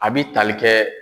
A bi tali kɛ.